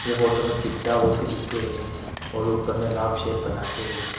Photo में pizza लिखे हैं और ऊपर में लाल शेप बनाके है।